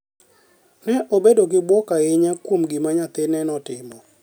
Ne obedo gi bwok ahinya kuom gima nyathine notimo.